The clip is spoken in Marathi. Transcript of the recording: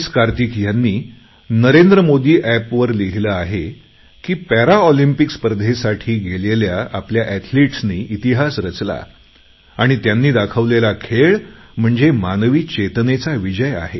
कार्तिक ह्यांनी नरेंद्र मोदी एपवर लिहिलं आहे की पॅरालिम्पिक्स स्पर्धेसाठी गेलेल्या आपल्या एथलीटनी इतिहास रचला आणि त्यांनी दाखवलेला खेळ म्हणजे मानवी चेतनेचा विजय आहे